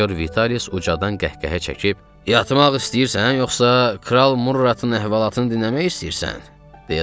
Sinyor Vitalius ucadan qəhqəhə çəkib, yatmaq istəyirsən yoxsa kral Murratın əhvalatını dinləmək istəyirsən?